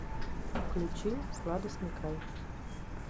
включи сладостный край